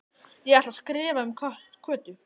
Ég ætla að skrifa um Kötu